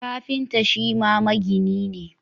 Kafinta Shima magini ne